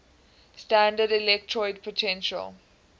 standard electrode potential